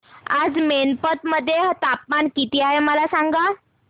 आज मैनपत मध्ये तापमान किती आहे मला सांगा